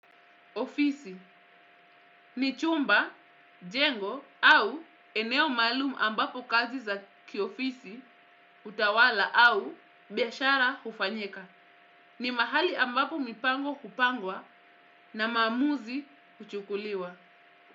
Ofisi ni chumba, jengo au eneo maalum ambapo kazi za kiofisi hutawala au biashara hufanyika. Ni mahali ambapo mipango hupangwa na maamuzi kuchukuliwa.